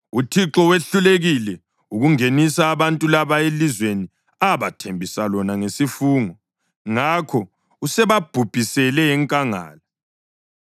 ‘ UThixo wehlulekile ukungenisa abantu laba elizweni abathembisa lona ngesifungo; ngakho usebabhubhisele enkangala.’